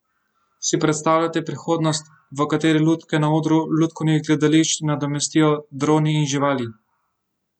Si predstavljate prihodnost, v kateri lutke na odru lutkovnih gledališč nadomestijo droni in živali?